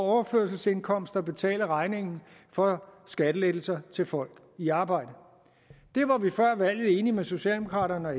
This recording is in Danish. overførselsindkomster betale regningen for skattelettelser til folk i arbejde det var vi før valget enige med socialdemokraterne og